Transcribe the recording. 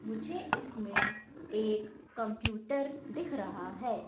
मुझे इसमें एक कंप्यूटर दिख रहा है।